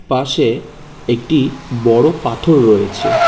পাশে একটি বড় পাথর রয়েছে।